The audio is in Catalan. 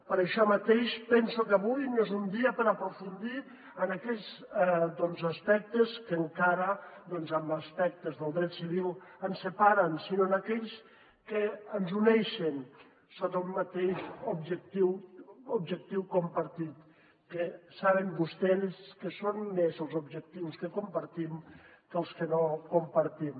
per això mateix penso que avui no és un dia per aprofundir en aquells aspectes que encara en aspectes del dret civil ens separen sinó en aquells que ens uneixen sota un mateix objectiu compartit que saben vostès que són més els objectius que compartim que els que no compartim